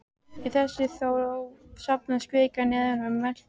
Í þessa þró safnast kvika neðan úr möttli jarðar.